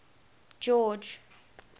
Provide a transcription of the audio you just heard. george